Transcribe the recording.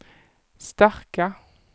starka